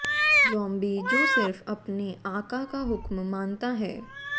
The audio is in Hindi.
जॉम्बी जो सिर्फ अपने आका का हुक्म मानता है